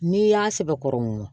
N'i y'a sɛbɛkɔrɔ mun na